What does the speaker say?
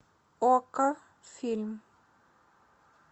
окко фильм